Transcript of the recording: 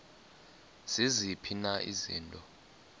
ziziphi na izinto